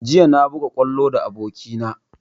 Jiya na buga kwallo da aboki na